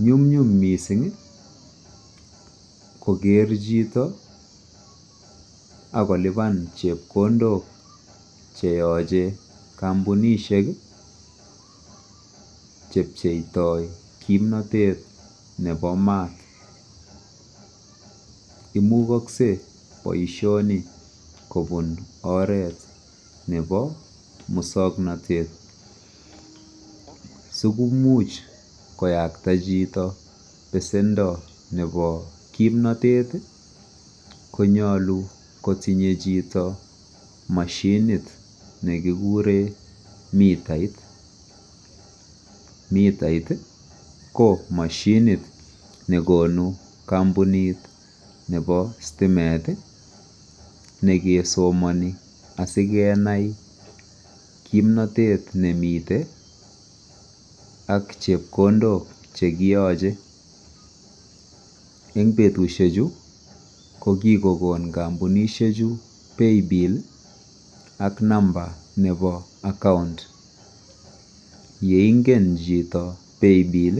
Nyumnyum missing koker chito akolipan chepkondok cheyochei kampunishek chepcheitoi kimnotet nebo maat imugoske boishoni kobun oret nebo muswongnotet sikomuch koyakta chito besendo nebo kimnotet konyolu kotinyei chito mashinit nekikure mitait, mitait ko mashinit ne konu kampunit nebo stimet nekesomoni asikenai kimnotet nemitei ak chepkondok chekiyochei ing betushek chu ko kikokon kampunishe chu pay bill ak number nebo account yeingen chito pay bill